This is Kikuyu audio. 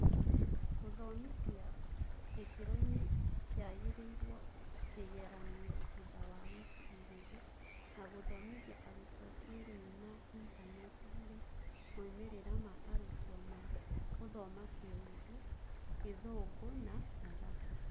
Gũthomithia gĩkĩroinĩ kĩagĩrĩirwo, kĩgeranio thutha wa wiki igĩrĩ, na gũthomithia arutwo kĩĩrĩu na intaneti harĩ moimĩrĩra ma arutwo ma gũthoma Kĩundu, gĩthũngũ na mathabu ?